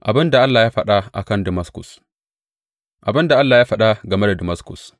Abin da Allah ya faɗa a kan Damaskus Abin da Allah ya faɗa game da Damaskus.